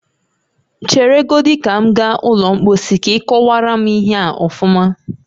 Chere godi ka m gaa ụlọ mposi ka ị kowara m ihe a ọfuma